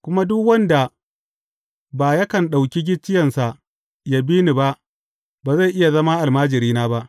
Kuma duk wanda ba yakan ɗauki gicciyensa ya bi ni ba, ba zai iya zama almajirina ba.